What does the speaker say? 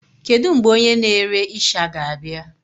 Kedu mgbe onye na-ere isha ga-abịa?